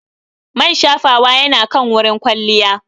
Man shafawa yana kan wurin kwalliya.